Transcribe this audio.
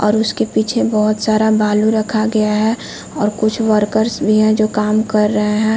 और उसके पीछे बहुत सारा बालू रखा गया है और कुछ वर्कर्स भी है जो काम कर रहै हैं।